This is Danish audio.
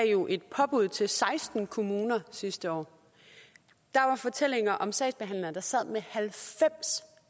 jo et påbud til seksten kommuner sidste år der var fortællinger om sagsbehandlere der sad med halvfems